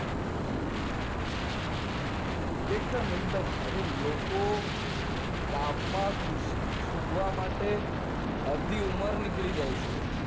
એક્દુમ અરે લોકો કામ માં ખુશી શોધવા માટે અર્ધી ઉમર નીકળી જાય છે